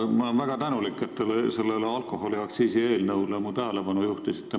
Ma olen väga tänulik, et te alkoholiaktsiisi seadusele mu tähelepanu juhtisite.